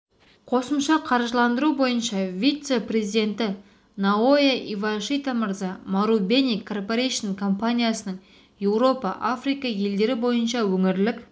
қосымша қаржыландыру бойынша вице-президенті наоя ивашита мырза марубени корпорейшн компаниясының еуропа африка елдері бойынша өңірлік